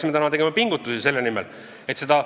Räägitakse, et 32% on suurenenud just kolmandate laste sündimus.